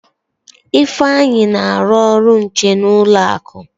Ifeanyi na-alụ ọrụ nche n'ụlọ akụ.